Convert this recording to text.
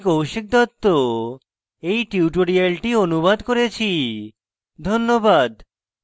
আমি কৌশিক দত্ত এই টিউটোরিয়ালটি অনুবাদ করেছি ধন্যবাদ